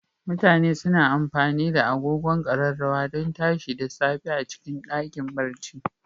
mutane suna amfani da agogon Ƙararrawa don tashi da safe a cikin ɗakin barci.